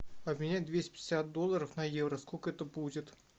обменять двести пятьдесят долларов на евро сколько это будет